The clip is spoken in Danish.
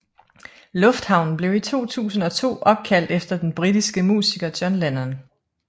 Lufthavnen blev i 2002 opkaldt efter den britiske musiker John Lennon